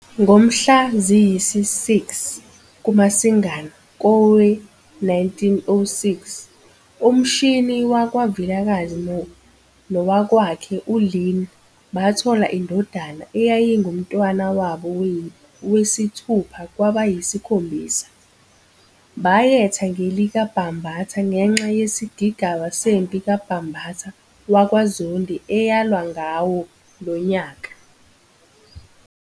Ngomhla ziyisi-6 kuMasingana kowe-1906 uMshini wakwaVilakazi nowakwakhe uLeah bathola indodana eyayingumntwana wabo wesithupha kwabayisikhombisa. Bayetha ngelikaBhambatha ngenxa yesigigaba sempi kaBhambatha wakwaZondi eyalwa ngawo lo nyaka.